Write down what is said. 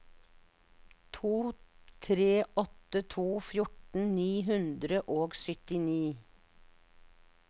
to tre åtte to fjorten ni hundre og syttini